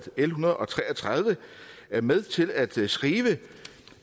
l en hundrede og tre og tredive er med til at skrive